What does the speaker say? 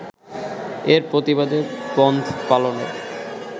এর প্রতিবাদে বনধ পালনের